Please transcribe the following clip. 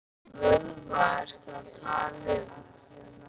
Hvaða vöðva ertu að tala um?